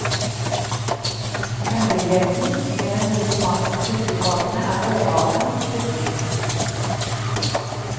Hemmeligheten med den gode smaken på fiskekakene er råvarene og krydringen.